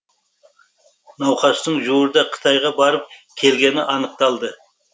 науқастың жуырда қытайға барып келгені анықталды